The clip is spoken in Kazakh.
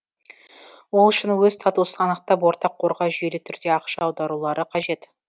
ол үшін өз статусын анықтап ортақ қорға жүйелі түрде ақша аударулары қажет